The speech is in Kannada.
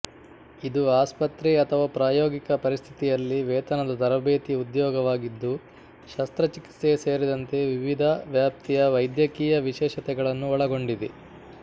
ಇದು ಆಸ್ಪತ್ರೆ ಅಥವಾ ಪ್ರಾಯೋಗಿಕ ಪರಿಸ್ಥಿತಿಯಲ್ಲಿ ವೇತನದ ತರಬೇತಿ ಉದ್ಯೋಗವಾಗಿದ್ದು ಶಸ್ತ್ರಚಿಕಿತ್ಸೆ ಸೇರಿದಂತೆ ವಿವಿಧ ವ್ಯಾಪ್ತಿಯ ವೈದ್ಯಕೀಯ ವಿಶೇಷತೆಗಳನ್ನು ಒಳಗೊಂಡಿದೆ